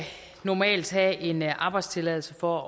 normalt have en arbejdstilladelse for